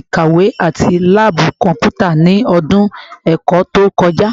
ikawe ati laabu kọnputa ni ọdun ẹkọ to kọja?